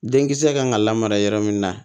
Denkisɛ kan ka lamara yɔrɔ min na